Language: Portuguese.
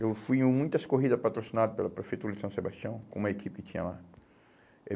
Eu fui em muitas corridas patrocinadas pela Prefeitura de São Sebastião, com uma equipe que tinha lá. E